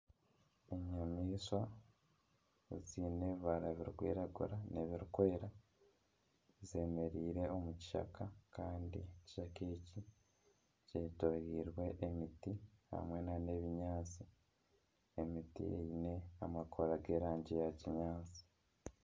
Enyamaishwa eziine ebibara birikwiragira n'ebiri kweera, zemereire omu kishaka. Ekishaka eki kyetoreirwe emiti hamwe n'ebinyaatsi. Emiti eine amakoora g'erangi ya kinyaatsi.